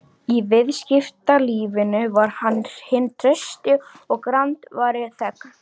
Í viðskiptalífinu var hann hinn trausti og grandvari þegn.